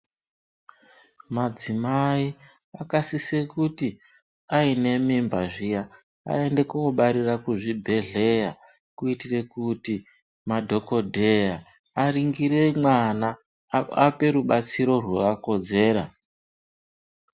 Madzimai akasise kuti aine mimba zviya aende kobarire kuzvibhedhlera, kuitire kuti madhogodheya aringire mwana, ape rubatsiro rwakakodzera.